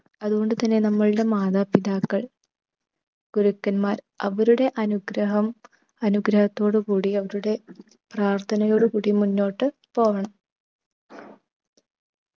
അതുകൊണ്ട് തന്നെ നമ്മൾടെ മാതാപിതാക്കൾ ഗുരുക്കന്മാർ അവരുടെ അനുഗ്രഹം അനുഗ്രഹത്തോടു കൂടി അവരുടെ പ്രാർത്ഥനയോടു കൂടി മുന്നോട്ട് പോകണം.